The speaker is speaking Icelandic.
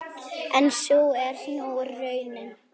En sú er nú raunin.